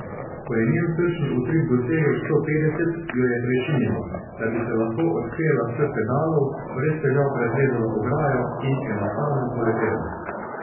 Ko je njen srčni utrip dosegel sto petdeset, jo je prešinilo, da bi se lahko odpela s pedalov, brez težav preplezala ograjo in enostavno poletela.